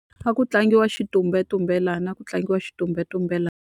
A ku tlangiwa xitumbelelana, a ku tlangiwa xitumbelelana.